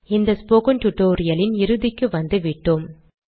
இந்த ஸ்போகன் டுடோரியலின் இறுதிக்கு வந்துவிட்டோம்